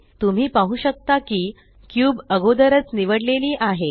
तुम्ही पाहु शकता की क्यूब अगोदरच निवडलेली आहे